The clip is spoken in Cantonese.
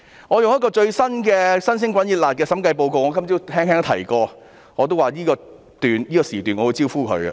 我用一個最新發表的審計報告來說明，我今早也曾提到，我會在這個辯論時段"招呼"發展局。